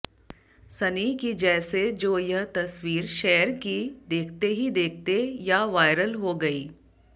सनी की जैसे जो यह तस्वीर शेयर की देखते ही देखते या वायरल हो गयी